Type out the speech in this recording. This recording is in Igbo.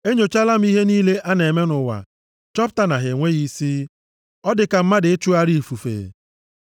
Enyochaala m ihe niile a na-eme nʼụwa chọpụta na ha enweghị isi. Ọ dị ka mmadụ ịchụgharị ifufe.